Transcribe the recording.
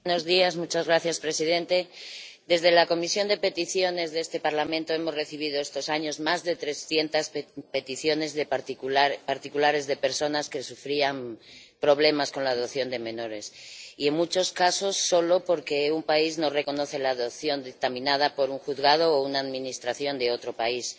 Señor presidente, en la Comisión de Peticiones de este Parlamento hemos recibido estos años más de trescientas peticiones de particulares, de personas que sufrían problemas con la adopción de menores, y en muchos casos solo porque un país no reconoce la adopción dictaminada por un juzgado o una administración de otro país.